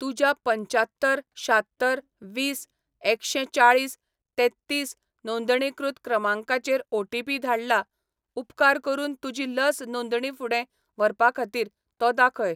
तुज्या पंच्यात्तर शात्तर वीस एकशें चाळीस तेत्तीस नोंदणीकृत क्रमांकाचेर ओटीपी धाडला, उपकार करून तुजी लस नोंदणी फुडें व्हरपा खातीर तो दाखय.